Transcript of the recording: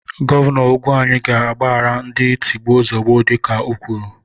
Gọvanọ Ugwuanyi ga-agbaghara ndị tigbuo zogbuo dịka ọ kwuru.